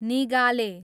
निगाले